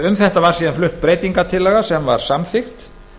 um þetta var síðan flutt breytingartillaga sem var samþykkt